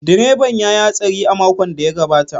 Direban ya yi hatsari a makon da ya gabata.